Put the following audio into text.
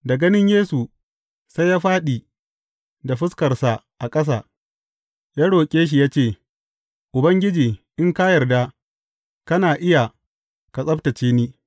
Da ganin Yesu, sai ya fāɗi da fuskarsa a ƙasa, ya roƙe shi ya ce, Ubangiji, in ka yarda, kana iya ka tsabtacce ni.